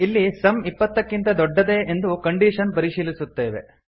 ಇಲ್ಲಿ ಸಮ್ ಇಪ್ಪತ್ತಕ್ಕಿಂತ ದೊಡ್ಡದೇ ಎಂದು ಕಂಡೀಶನ್ ಪರಿಶೀಲಿಸುತ್ತೇವೆ